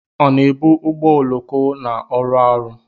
Ọ na-ebu ụgbọ oloko na-arụ ọrụ?